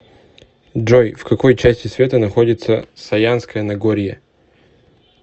джой в какой части света находится саянское нагорье